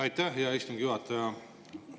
Aitäh, hea istungi juhataja!